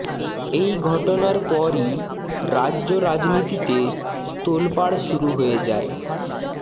এই ঘটনার পরই রাজ্য রাজনীতিতে তোলপাড় শুরু হয়ে যায়